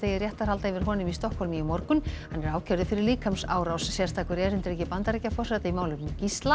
réttarhalda yfir honum í Stokkhólmi í morgun hann er ákærður fyrir líkamsárás sérstakur erindreki Bandaríkjaforseta í málefnum